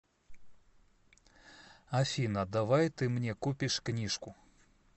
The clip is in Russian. афина давай ты мне купишь книжку